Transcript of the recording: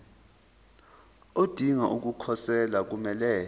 odinga ukukhosela kumele